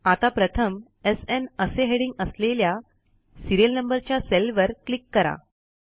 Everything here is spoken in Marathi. आता प्रथम एसएन असे हेडिंग असलेल्या सिरीयल नंबरच्या सेलवर क्लिक करा